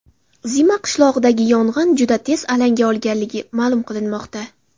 Zima qishlog‘idagi yong‘in juda tez alanga olganligi ma’lum qilinmoqda.